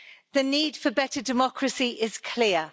The need for better democracy is clear.